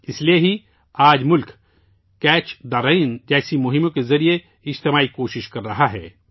اس لئے ہی آج ملک 'کیچ دی رین' جیسی مہمات کے ذریعے اجتماعی کوششیں کر رہا ہے